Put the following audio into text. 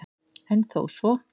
En þó svo